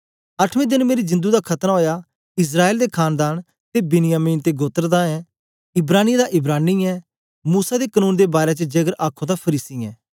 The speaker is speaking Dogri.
अठमें देन मेरी जिंदु दा खतना ओया इस्राएल दे खानदान ते बिन्यामिन ते गोत्र दा ऐं इब्रानियें दा इब्रानी ऐं मूसा दे कनून दे बारै च जेकर आखो तां फरीसी ऐं